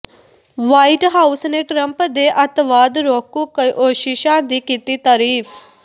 white House ਨੇ Trump ਦੇ ਅੱਤਵਾਦ ਰੋਕੂ ਕੋਸ਼ਿਸ਼ਾਂ ਦੀ ਕੀਤੀ ਤਰੀਫ